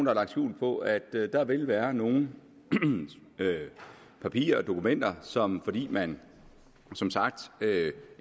har lagt skjul på at der vil være nogle papirer og dokumenter som fordi man som sagt